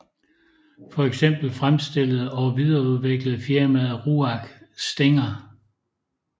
For eksempel fremstillede og videreudviklede firmaet RUAG Stinger